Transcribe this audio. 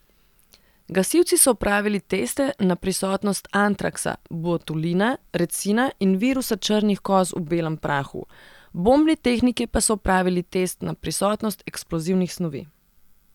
Gasilci so opravili teste na prisotnost antraksa, botulina, recina in virusa črnih koz v belem prahu, bombni tehniki pa so opravili test na prisotnost eksplozivnih snovi.